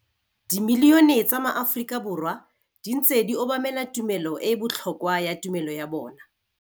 Dimilione tsa maAforika Borwa di ntse di obamela tumelo e e botlhokwa ya tumelo ya bona.